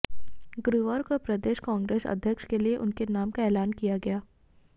गुरुवार को प्रदेश कांग्रेस अध्यक्ष के लिए उनके नाम का ऐलान किया गया